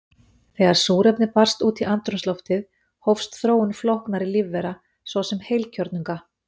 Þegar súrefni barst út í andrúmsloftið hófst þróun flóknara lífvera, svo sem heilkjörnunga.